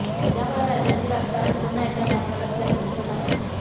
त्यामुळे राज्यातील राजकारण पुन्हा एकदा तापणार असल्याचं दिसत आहे